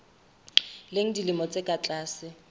leng dilemo tse ka tlase